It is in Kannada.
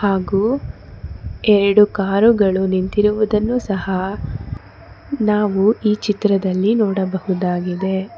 ಹಾಗೂ ಎರಡು ಕಾರುಗಳು ನಿಂತಿರುವುದನ್ನು ಸಹ ನಾವು ಈ ಚಿತ್ರದಲ್ಲಿ ನೋಡಬಹುದಾಗಿದೆ.